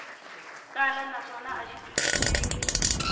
tala naswona a xi twisiseki